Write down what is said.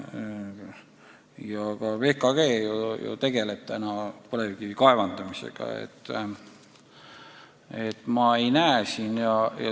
Ja ka VKG ju tegeleb põlevkivi kaevandamisega.